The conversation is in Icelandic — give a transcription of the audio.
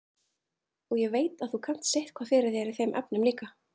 Og ég veit að þú kannt sitthvað fyrir þér í þeim efnum líka.